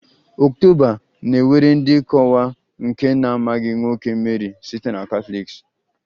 October na-ewere dị ka ọnwa nke na-amaghị nwoke Mary site Catholics